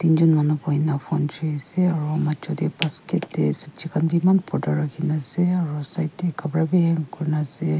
manu bohina phone choi ase aro majo tey basket tey sobji khan bi eman borta rakhi na ase aru side tey khapura bi hang kurina ase.